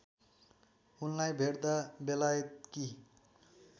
उनलाई भेट्दा बेलायतकी